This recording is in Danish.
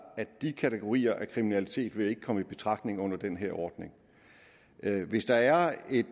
at de kategorier af kriminalitet ikke vil komme i betragtning under den her ordning hvis der er et